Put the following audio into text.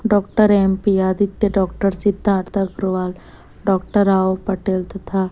doctor MP Aditya doctor Siddharth Agarwal doctor Rao Patel तथा--